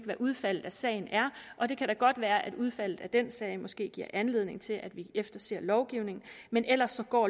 hvad udfaldet af sagen er og det kan da godt være at udfaldet af den sag måske giver anledning til at vi efterser lovgivningen men ellers går